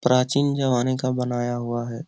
प्राचीन जमाने का बनाया हुआ है।